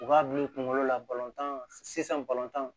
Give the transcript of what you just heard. U k'a bila u kunkolo la balɔntan sisan bayan